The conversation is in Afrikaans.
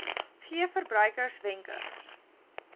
gee verbruikers wenke